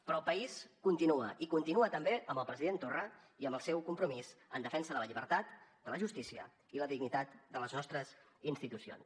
però el país continua i continua també amb el president torra i amb el seu compromís en defensa de la llibertat de la justícia i la dignitat de les nostres institucions